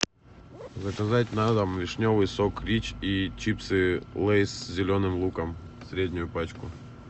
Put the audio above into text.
заказать на дом вишневый сок рич и чипсы лейс с зеленым луком среднюю пачку